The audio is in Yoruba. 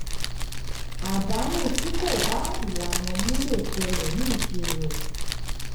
àdánù tí kò bá ìlànà mu lè ṣẹlẹ̀ ní ìṣirò.